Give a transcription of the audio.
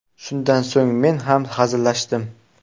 Shundan so‘ng men ham hazillashdim.